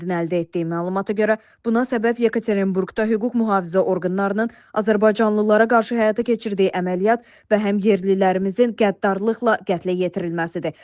Trendin əldə etdiyi məlumata görə buna səbəb Yekaterinburqda hüquq mühafizə orqanlarının azərbaycanlılara qarşı həyata keçirdiyi əməliyyat və həm yerlilərimizin qəddarlıqla qətlə yetirilməsidir.